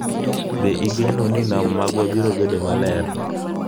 Be igeno ni nam magwa biro bedo maler?